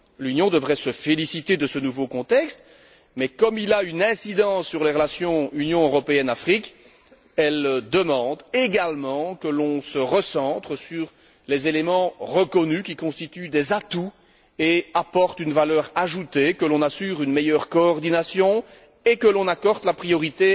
L'Union devrait se féliciter de ce nouveau contexte, mais comme il a une incidence sur les relations Union européenne Afrique, elle demande également que l'on se recentre sur les éléments reconnus qui constituent des atouts et apportent une valeur ajoutée, que l'on assure une meilleure coordination et que l'on accorde la priorité